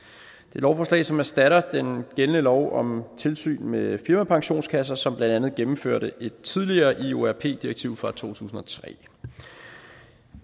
lovforslag som erstatter den gældende lov om tilsyn med firmapensionskasser som blandt andet gennemførte et tidligere iorp ii direktiv fra to tusind og tre